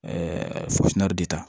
de ta